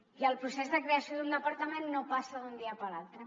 i el procés de creació d’un departament no passa d’un dia per l’altre